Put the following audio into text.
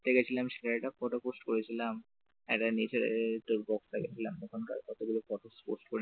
ঘুরতে গেছিলাম সেটা একটা photo post করেছিলাম একটা নেচার ওখানে গিয়েছিলাম সেখানকার কতগুলো photo post করেছিলাম।